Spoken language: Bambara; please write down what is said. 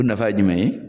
O nafa ye jumɛn ye